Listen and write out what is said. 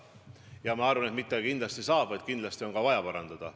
Ja ma arvan, et mitte kindlasti saab, vaid kindlasti on ka vaja parandada.